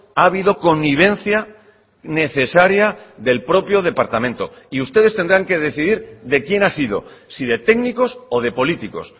ha habido connivencia necesaria del propio departamento y ustedes tendrán que decidir de quién ha sido si de técnicos o de políticos